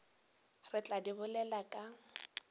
re tla di bolela ka